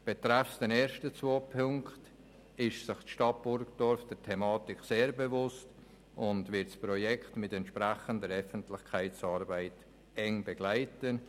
Betreffend die ersten zwei Punkte ist sich die Stadt Burgdorf der Thematik sehr bewusst, und sie wird das Projekt mit entsprechender Öffentlichkeitsarbeit eng begleiten.